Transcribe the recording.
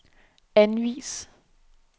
anvis